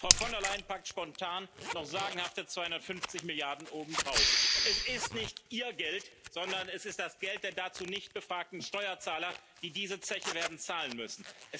Frau von der Leyen packt spontan noch sagenhafte 250 Milliarden obendrauf. Es ist nicht Ihr Geld, sondern es ist das Geld der dazu nicht befragten Steuerzahler, die diese Zeche werden zahlen müssen.